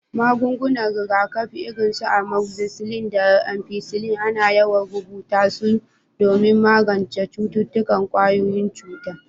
Magungunan rigakafi irin su amoxicillin da penicillin ana yawan rubuta su don magance cututtukan ƙwayoyin cuta.